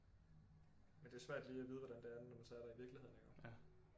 Men det er svært lige at vide hvordan det er når man så er der i virkeligheden iggå